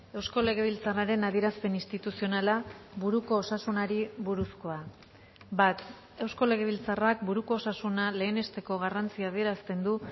eusko legebiltzarraren adierazpen instituzionala buruko osasunari buruzkoa bat eusko legebiltzarrak buruko osasuna lehenesteko garrantzia adierazten du